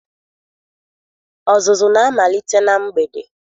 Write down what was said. Ọzụzụ na-amalite na mgbede.